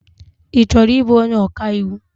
Ị chọrọ ịbụ onye ọkaiwu?